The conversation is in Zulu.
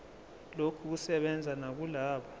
lokhu kusebenza nakulabo